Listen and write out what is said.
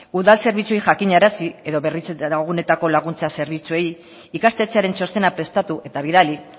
udal zerbitzuei jakinarazi edo berritze gunetako laguntza zerbitzuei ikastetxearen txostena prestatu eta bidali